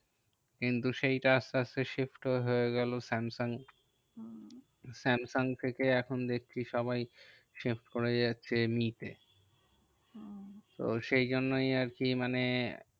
কিন্তু সেইটা আস্তে আস্তে shift হয়ে গেলো স্যামসাং। স্যামসাং থেকে এখন দেখছি সবাই shift করে যাচ্ছে মি তে। তো সেই জন্যই আরকি মানে